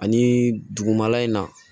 Ani dugumala in na